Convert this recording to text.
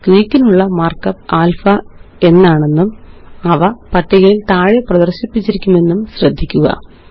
ഗ്രീക്കിനുള്ള markup alpha എന്നാണെന്നും അവ പട്ടികയില് താഴെ പ്രദര്ശിപ്പിച്ചിരിക്കുമെന്നും ശ്രദ്ധിക്കുക